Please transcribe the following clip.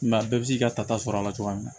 Mɛ a bɛɛ bɛ se k'i ka tata sɔrɔ a la cogoya min na